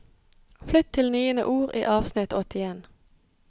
Flytt til niende ord i avsnitt åttien